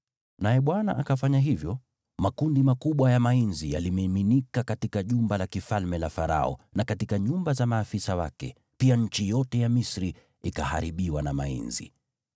Naye Bwana akafanya hivyo. Makundi makubwa ya mainzi yalimiminika katika jumba la kifalme la Farao na katika nyumba za maafisa wake, pia nchi yote ya Misri ikaharibiwa na mainzi.